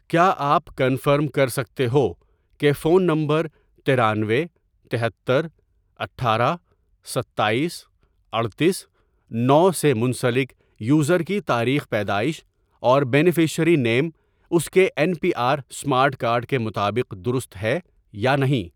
کیا آپ کنفرم کر سکتے ہو کہ فون نمبر ترانوے، تہتر، اٹھارہ، ستایس، اڈتیس، نو، سے منسلک یوزر کی تاریخ پیدائش اور بینیفشیری نِیم اس کے N P R smart card کے مطابق درست ہے یا نہیں